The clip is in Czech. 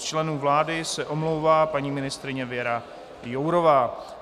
Z členů vlády se omlouvá paní ministryně Věra Jourová.